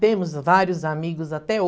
Temos vários amigos até